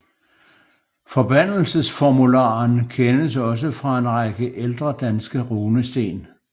Forbandelsesformularen kendes også fra en række ældre danske runesten